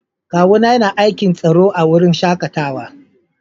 Kawu na ya na aikin tsaro a'wurin shakatawan.